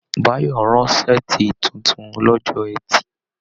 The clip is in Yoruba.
Báyọ̀ rán saati títún lọ́jọ́ ẹtì.